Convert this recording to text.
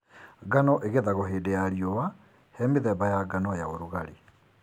Ngano igethagwo hĩndĩ ya riũa he mĩthemba ya ngano ya ũrugarĩ.